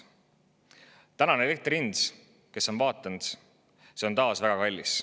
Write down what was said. Tänane elektri hind – kes on vaadanud, – on taas väga kallis.